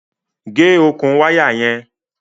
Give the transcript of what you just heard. Gẹ̀ ọkùn wàya yẹn!